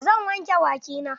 Zan wanke baki na.